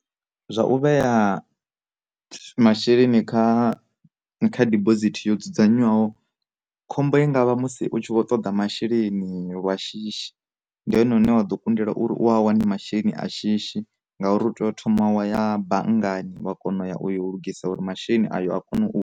Zwa u vhea masheleni kha kha dibosithi yo dzudzanywaho, khombo i ngavha musi u tshi vho toḓa masheleni lwa shishi ndi hone une wa ḓo kundela uri u a wane masheleni a shishi ngauri u tea u thoma wa ya banngani wa kona u ya uyo u lugisa uri masheleni ayo a kona u.